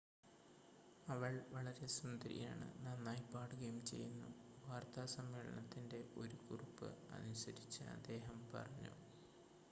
അവൾ വളരെ സുന്ദരിയാണ് നന്നായി പാടുകയും ചെയ്യുന്നു വാർത്താ സമ്മേളനത്തിൻ്റെ ഒരു കുറിപ്പ് അനുസരിച്ച് അദ്ദേഹം പറഞ്ഞു